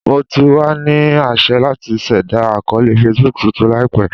Mo ti wa ni aṣẹ lati ṣẹda akọọlẹ Facebook tuntun laipe.